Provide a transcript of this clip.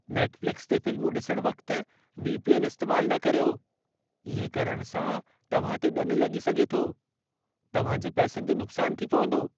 Netflix ते फ़िल्मूं ॾिसण वक़्ति वी.पी.एन. इस्तेमालु न करियो। इएं करण सां तव्हां ते ॾनु लॻी सघे थो। तव्हां जे पैसनि जो नुक़सानु थी पवंदो।